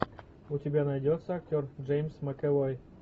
у тебя найдется актер джеймс макэвой